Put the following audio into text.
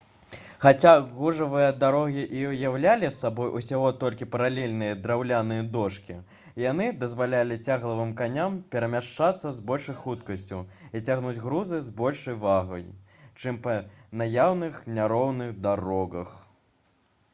хаця гужавыя дарогі і ўяўлялі сабой усяго толькі паралельныя драўляныя дошкі яны дазвалялі цяглавым коням перамяшчацца з большай хуткасцю і цягнуць грузы з большай вагой чым па наяўных няроўных дарогах